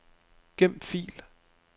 Gem fil.